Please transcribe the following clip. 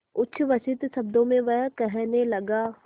उच्छ्वसित शब्दों में वह कहने लगा